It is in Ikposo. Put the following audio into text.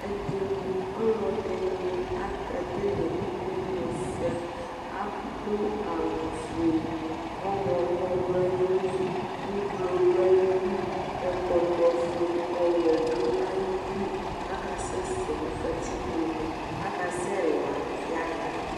Ɛdɩnɩ, ɔlɔdɩnɩ akekele imenusɛ Adʋ awʋfue, ɔɣlɔmɔ dʋ ayili, ublo dʋ ayili, ɛkɔtɔfue, ɔwɛ dʋ ayili kʋ akasɛsɛ nʋ katikpone, akasɛla yaɣa